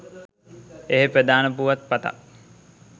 එහේ ප්‍රධාන පුවත් පතක්